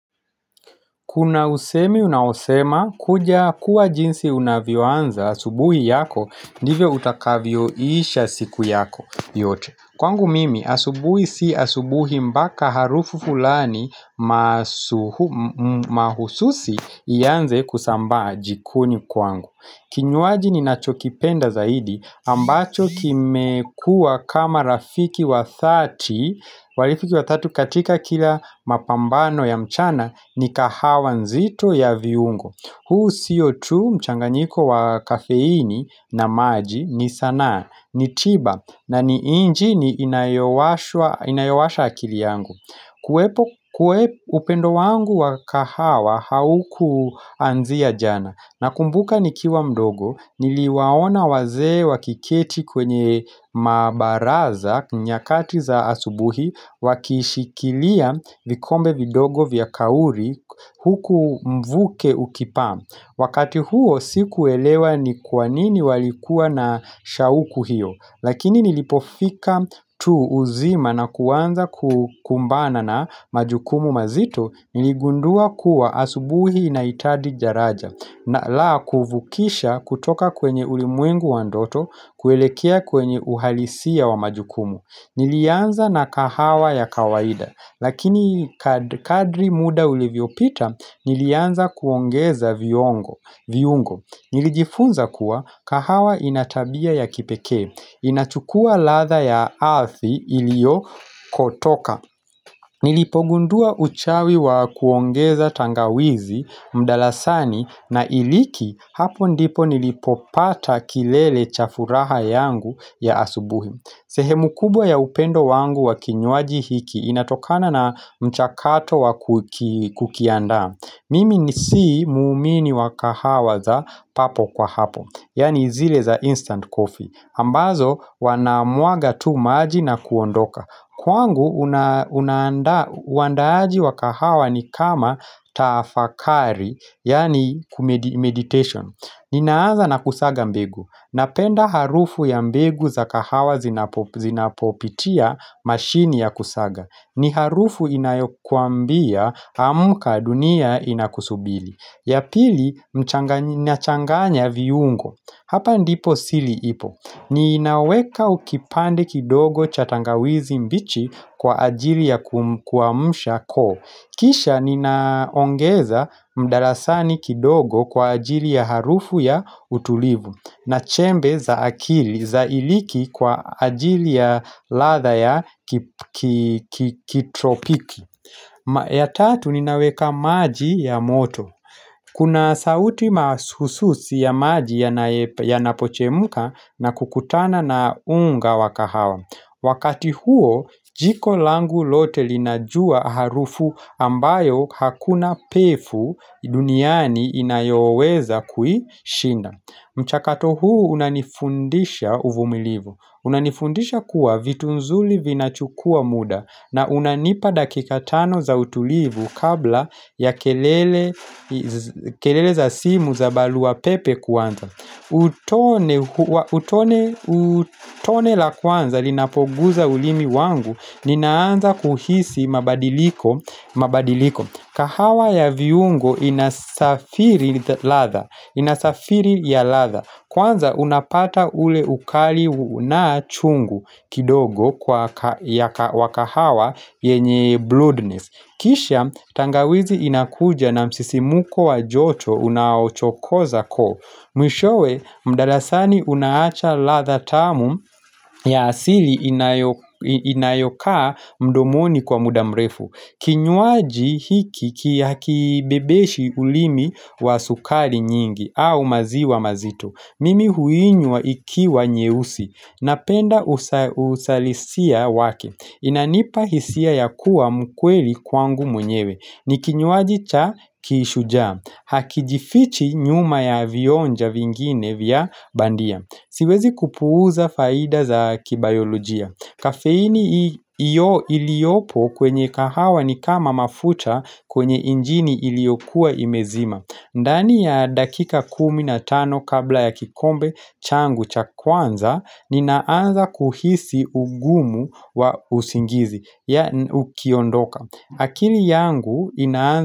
Kuna usemi unausema kuja kuwa jinsi unavyoanza asubuhi yako nivyo utakavyoisha siku yako yote. Kwangu mimi asubuhi si asubuhi mpaka harufu fulani mahususi ianze kusambaa jikoni kwangu. Kinywaji ninacho kipenda zaidi ambacho kimekuwa kama rafiki wa 30 Walifiki tatu katika kila mapambano ya mchana ni kahawa nzito ya viungo. Huu sio tu mchanganyiko wa kafeini na maji ni sanaa ni tiba na ni inji ni inayowasha akili yangu kwe upendo wangu wa kahawa haukuanzia jana na kumbuka nikiwa mdogo niliwaona wazee wakiketi kwenye mabaraza nyakati za asubuhi wakishikilia vikombe vidogo vya kauri huku mvuke ukipa. Wakati huo siku elewa ni kwanini walikuwa na shauku hiyo. Lakini nilipofika tu uzima na kuwanza kumbana na majukumu mazito niligundua kuwa asubuhi na itadi jaraja. Na laa kufukisha kutoka kwenye ulimwengu wandoto kuelekea kwenye uhalisia wa majukumu Nilianza na kahawa ya kawaida Lakini kadri muda ulevyopita nilianza kuongeza viungo nilijifunza kuwa kahawa inatabia ya kipeke inachukua ladha ya aathi ilio kotoka Nilipogundua uchawi wa kuongeza tangawizi mdalasani na iliki hapo ndipo nilipopata kilele chafuraha yangu ya asubuhi. Sehemu kubwa ya upendo wangu wa kinyuaji hiki inatokana na mchakato wa kukianda Mimi nisi muumini wa kahawaza papo kwa hapo, yaani zile za instant coffee ambazo wanamwaga tu maji na kuondoka. Kwangu, uandaaji wa kahawa ni kama taafakari, yani meditation. Ninaaza na kusaga mbegu. Napenda harufu ya mbegu za kahawa zinapopitia mashini ya kusaga. Ni harufu inayokuambia amka dunia inakusubili. Ya pili, na changanya viungo. Hapa ndipo sili ipo. Niinaweka ukipande kidogo chatangawizi mbichi kwa ajili ya kuamsha ko Kisha ninaongeza mdarasani kidogo kwa ajili ya harufu ya utulivu Nachembe za akili za iliki kwa ajili ya ladha ya kitropiki. Ya tatu ninaweka maji ya moto Kuna sauti masususi ya maji ya napochemka na kukutana na unga wa kahawa. Wakati huo, jiko langu lote linajua harufu ambayo hakuna pefu duniani inayoweza kui shinda. Mchakato huu unanifundisha uvumilivu unanifundisha kuwa vitu nzuli vinachukua muda na unanipa dakika tano za utulivu kabla ya kelele za simu za barau pepe kuanza Utone la kwanza linapoguza ulimi wangu ninaanza kuhisi mabadiliko kahawa ya viungo inasafiri ladha Inasafiri ya ladha Kwanza unapata ule ukali na chungu kidogo wa wakahawa yenye bloodness Kisha tangawizi inakuja na msisimuko wa joto unaochokoza koo Mwishowe mdalasani unaacha ladha tamu ya asili inayokaa mdomoni kwa muda mrefu Kinyuaji hiki hakibebeshi ulimi wa sukari nyingi au maziwa mazito mimi huinywa ikiwa nyeusi napenda usalisia wake Inanipa hisia ya kuwa mkweli kwangu mwenyewe Nikinyuaji cha kishuja Hakijifichi nyuma ya vionja vingine vya bandia Siwezi kupuuza faida za kibayolojia Kafeini iyo iliopo kwenye kahawa ni kama mafuta kwenye injini iliokuwa imezima ndani ya dakika kumi na tano kabla ya kikombe changu cha kwanza Ninaanza kuhisi ugumu wa usingizi ya ukiondoka akili yangu inaanza.